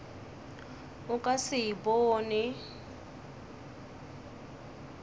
o ka se e bone